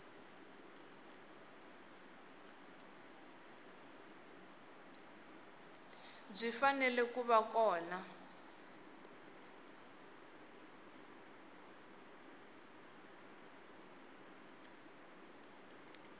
byi fanele ku va kona